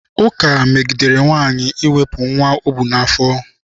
Ụka megidere nwaanyị iwepụ nwa o bu n'afọ.